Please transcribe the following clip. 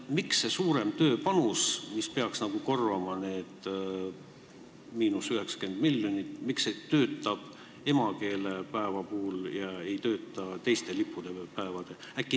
Miks see suurem tööpanus, mis peaks korvama need – 90 miljonit, töötab emakeelepäeva puhul ega tööta teiste lipupäevade korral?